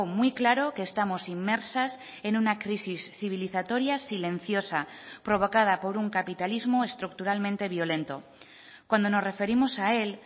muy claro que estamos inmersas en una crisis civilizatoria silenciosa provocada por un capitalismo estructuralmente violento cuando nos referimos a él